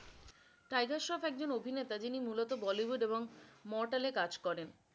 Tiger Shroff একজন অভিনেতা যিনি মুলত bollywood এবং mortal এ কাজ করেন।